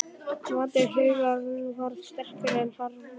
Máttur huggunarinnar varð sterkari en harmurinn.